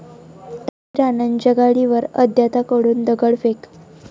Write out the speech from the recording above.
रवी राणांच्या गाडीवर अज्ञाताकडून दगडफेक